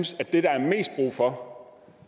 tak for